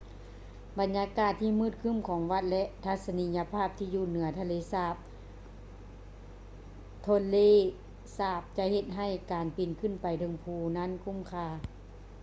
ບັນຍາກາດທີ່ມືດຄື້ມຂອງວັດ ແລະ ທັດສະນີຍະພາບທີ່ຢູ່ເໜືອທະເລສາບ tonle sap ຈະເຮັດໃຫ້ການປີນຂຶ້ນໄປເທິງພູນັ້ນຄຸ້ມຄ່າ